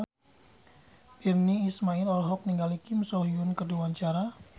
Virnie Ismail olohok ningali Kim So Hyun keur diwawancara